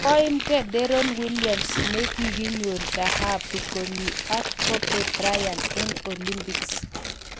Koiimgei Deron Williams ne kikonyor dhahabu Komi ak Kobe Bryant eng Olympics